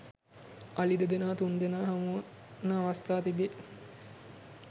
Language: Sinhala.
අලි දෙදෙනා තුන්දෙනා හමුවන අවස්ථා තිබේ